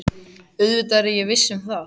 Auðvitað er ég viss um það.